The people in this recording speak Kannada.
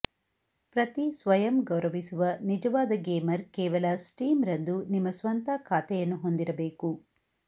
ಪ್ರತಿ ಸ್ವಯಂ ಗೌರವಿಸುವ ನಿಜವಾದ ಗೇಮರ್ ಕೇವಲ ಸ್ಟೀಮ್ ರಂದು ನಿಮ್ಮ ಸ್ವಂತ ಖಾತೆಯನ್ನು ಹೊಂದಿರಬೇಕು